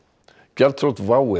gjaldþrot WOW